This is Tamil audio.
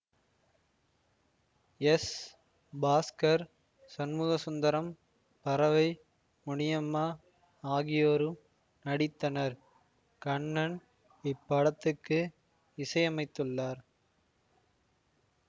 எஸ் பாஸ்கர் சண்முகசுந்தரம் பரவை முனியம்மா ஆகியோரும் நடித்தனர் கண்ணன் இப்படத்துக்கு இசையமைத்துள்ளார்